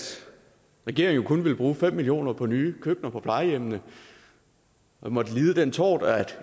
regeringen kun ville bruge fem million kroner på nye køkkener på plejehjemmene og måtte lide den tort at